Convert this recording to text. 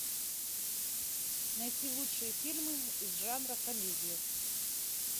найти лучшие фильмы из жанра комедия